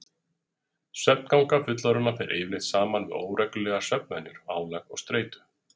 Svefnganga fullorðinna fer yfirleitt saman við óreglulegar svefnvenjur, álag og streitu.